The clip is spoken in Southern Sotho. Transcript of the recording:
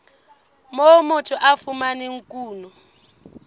moo motho a fumanang kuno